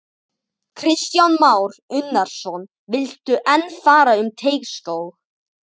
Kristján Már Unnarsson: Viltu enn fara um Teigsskóg?